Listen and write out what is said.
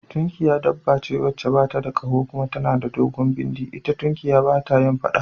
Tunkiya dabba ce wacce bata da kaho kuma tana da dogon bindi, ita tunkiya bata yin faɗa